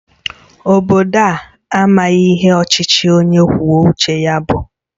Obodo a amaghị ihe ọchịchị onye kwuo uche ya bụ